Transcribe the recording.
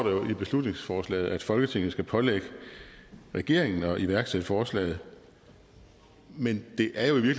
i beslutningsforslaget at folketinget skal pålægge regeringen at iværksætte forslaget men det er jo i